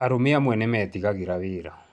Arũme amwe nĩ metigagĩra wĩra